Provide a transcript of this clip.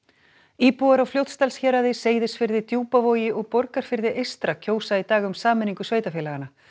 íbúar á Fljótsdalshéraði Seyðisfirði Djúpavogi og Borgarfirði eystra kjósa í dag um sameiningu sveitarfélaganna